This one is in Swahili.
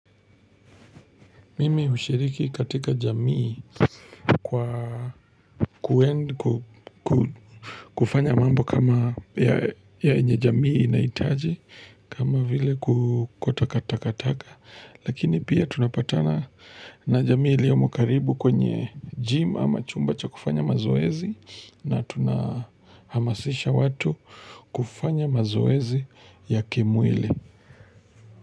Mimi hushiriki katika jamii kwa kuenda kufanya mambo kama yenye jamii inahitaji kama vile kuokota takataka. Lakini pia tunapatana na jamii iliomo karibu kwenye gym ama chumba cha kufanya mazoezi na tunahamasisha watu kufanya mazoezi ya kimwili.